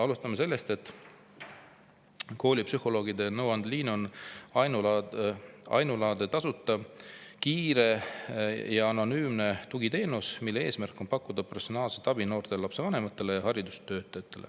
Alustame sellest, et koolipsühholoogide nõuandeliin on ainulaadne tasuta, kiire ja anonüümne tugiteenus, mille eesmärk on pakkuda professionaalset abi noortele, lapsevanematele ja haridustöötajatele.